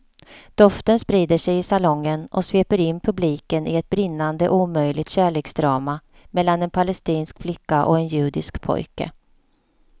Doften sprider sig i salongen och sveper in publiken i ett brinnande omöjligt kärleksdrama mellan en palestinsk flicka och en judisk pojke.